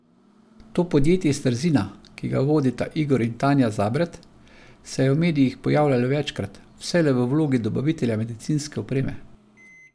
To podjetje iz Trzina, ki ga vodita Igor in Tanja Zabret, se je v medijih pojavljalo večkrat, vselej v vlogi dobavitelja medicinske opreme.